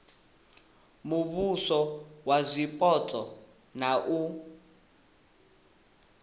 muvhuso wa zwipotso na u